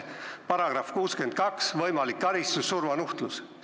§ 62, võimalik karistus: surmanuhtlus.